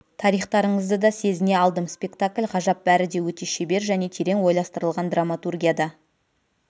тарихтарыңызды да сезіне алдым спектакль ғажап бәрі де өте шебер және терең ойластырылған драматургия да